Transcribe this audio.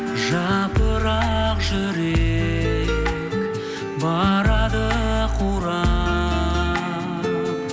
жапырақ жүрек барады қурап